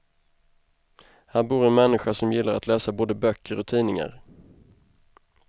Här bor en människa som gillar att läsa både böcker och tidningar.